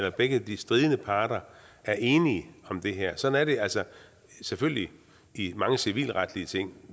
at begge de stridende parter er enige om det her sådan er det selvfølgelig i mange civilretlige ting